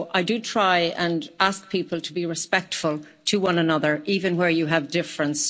So I do try and ask people to be respectful to one another, even where you have a difference.